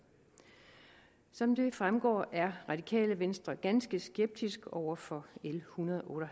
som det fremgår er radikale venstre ganske skeptisk over for l ethundrede og